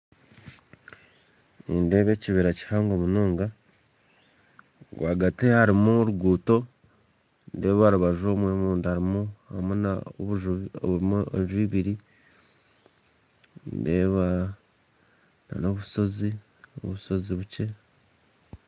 Nindeeba ekibira kihango munonga rwagati harimu oruguuto nindeeba aharubaju omunda harimu enju ibiri ndeeba obushozi obushozi bukye